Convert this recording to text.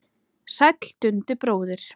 Sæll Dundi bróðir!